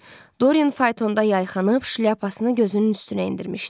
Doryan faytonda yayxanıb, şlyapasını gözünün üstünə endirmişdi.